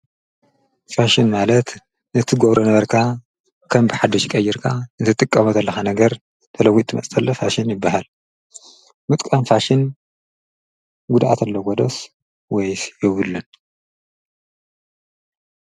ፋሽን ማለት ነቲጐብሮ ነበርካ ከም ብሓደሽ ይቀይርካ ዘትቀወት ኣለኻ ነገር ተለዊት መፅተለ ፋሽን ይበሃል ምጥቃን ፋሽን ጕድኣት ኣለ ጐደስ ወይስ የብልን